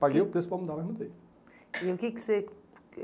Paguei o preço para mudar, mas mudei. E o que que você